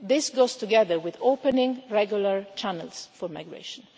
This goes together with opening regular channels for migration.